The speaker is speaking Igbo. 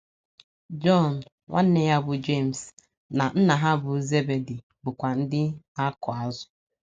Jọn, nwanne ya bụ́ Jems, na nna ha bụ́ Zebedi bụkwa ndị ndị na - akụ azụ̀.